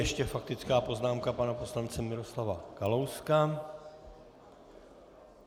Ještě faktická poznámka pana poslance Miroslava Kalouska.